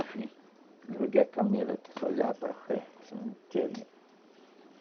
Enfim, joguei a camisa aqui, só olhava para frente